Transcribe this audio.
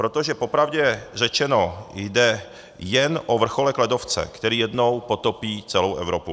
Protože popravdě řečeno jde jen o vrcholek ledovce, který jednou potopí celou Evropu.